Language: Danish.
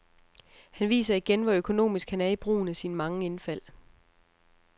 Han viser igen, hvor økonomisk han er i brugen af sine mange indfald.